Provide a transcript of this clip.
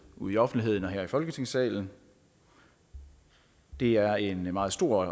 ude i offentligheden eller her i folketingssalen det er en meget stor